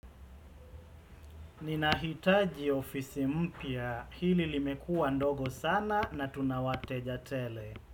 Nina hitaji ofisi mpya hili limekua ndogo sana na tunawateja tele.